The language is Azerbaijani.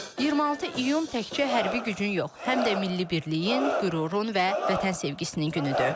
26 iyun təkcə hərbi gücün yox, həm də milli birliyin, qürurun və Vətən sevgisinin günüdür.